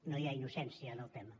no hi ha innocència en el tema